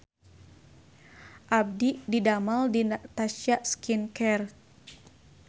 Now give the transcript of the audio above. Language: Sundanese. Abdi didamel di Natasha Skin Care